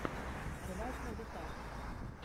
рвать на битах